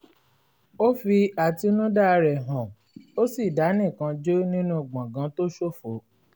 ó fi àtinúdá rẹ̀ hàn ó sì dá nìkan jó nínú gbàngàn tó ṣófo